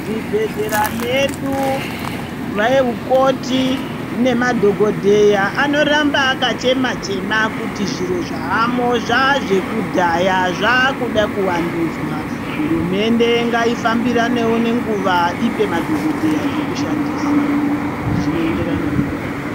Muzvibhehlera medu anamukoti nemadhokodheya anoramba akachema chema kuti zviro zvaamo zvazvekudhaya zvakude kuvandudzwa hurumende ngaifambiranewo nenguwa ipe madhokodheya zvekushandisa zvinoenderana nenguwa.